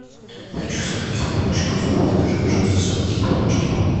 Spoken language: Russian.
хочу сладких пончиков закажи пожалуйста сладкие пончики